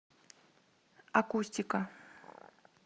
акустика